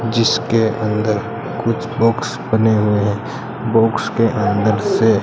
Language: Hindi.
जिसके अंदर कुछ बॉक्स बने हुए है बॉक्स के अंदर से--